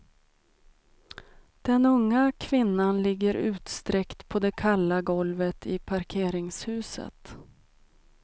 Den unga kvinnan ligger utsträckt på det kalla golvet i parkeringshuset.